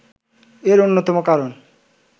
এর অন্যতম কারণ